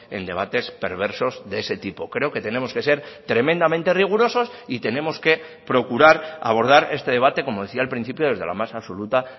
en debates perversos de ese tipo creo que tenemos que ser tremendamente rigurosos y tenemos que procurar abordar este debate como decía al principio desde la más absoluta